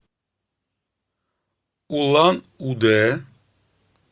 улан удэ